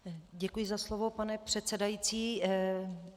Děkuji za slovo, pane předsedající.